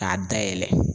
K'a da yɛlɛ